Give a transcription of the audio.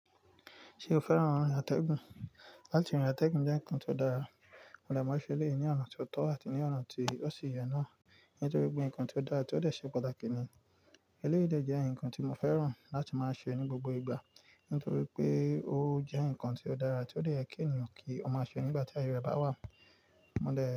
Ṣé o fẹ́ràn atẹ́gùn? Láti gbà atẹ́gùn jẹ́ nǹkan tó dára. Mo de máa ń ṣe eléyìí ní ọ̀nà tó tọ́ àti ní ọ̀nà tí ó ṣi ìyè náà nítorí pé ǹkan tó dára tí ó de se pàtàkì ní eléyìí de jẹ́ ǹkan tí mo fẹ́ràn láti máa ṣe ní gbogbo ìgbà nítorí pé ó jẹ́ ǹkan tió dára tí ó dè ye ki ènìyàn kí ó máa ṣe nígbà tí aye rẹ̀ bá wà. Mo dẹ́